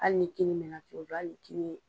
Hali ni kini mɛn na cogo cogo hali ni kini ye